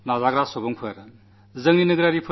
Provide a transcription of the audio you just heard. നമ്മുടെ സൈന്യത്തിൽ നമുക്കഭിമാനമുണ്ട്